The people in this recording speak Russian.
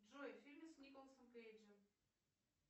джой фильмы с николасом кейджем